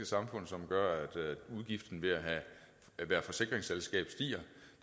samfund som gør at udgiften ved at være forsikringsselskab stiger